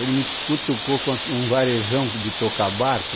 Ele me cutucou com um aq um varejão de tocar barco.